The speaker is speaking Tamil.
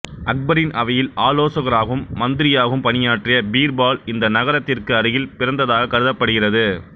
அக்பரின் அவையில் ஆலோசகராகவும் மந்திரியாகவும் பணியாற்றிய பீர்பால் இந்த நகரத்திற்கு அருகில் பிறந்ததாக கருதப்படுகிறது